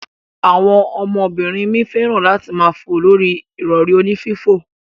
Awon omo binrin mi feran ati maa fo lori irori oni fifo.